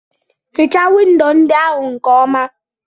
Hichaa windo ndị ahụ nke ọma